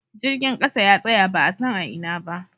Jirgin kasa ya tsaya ba'a san a Ina ba.